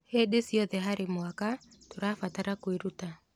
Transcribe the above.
Hĩndĩ ciothe harĩ mwaka, tũrabatara kwĩruta.